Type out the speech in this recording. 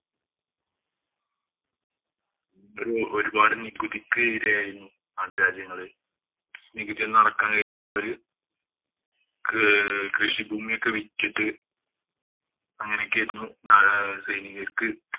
ഇവര് ഒരുപാട് നികുതിക്ക് ഇരയായിരുന്നു നാട്ടുരാജ്യങ്ങള്. നികുതിയൊന്നും അടക്കാന്‍ കഴിയാതെ അവര് കൃഷിഭൂമിയൊക്കെ വിറ്റിട്ട് അങ്ങനെയൊക്കെയായിരുന്നു സൈനികര്‍ക്ക്